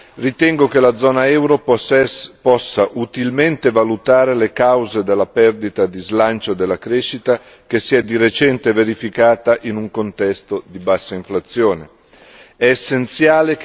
In termini generali, ritengo che la zona euro possa utilmente valutare le cause della perdita di slancio della crescita che si è di recente verificata in un contesto di bassa inflazione.